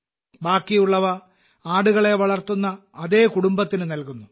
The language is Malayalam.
ബാക്കിയുള്ളവ ആടുകളെ വളർത്തുന്ന അതേ കുടുംബത്തിന് നൽകുന്നു